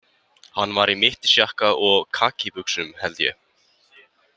Hann var í mittisjakka og kakíbuxum held ég.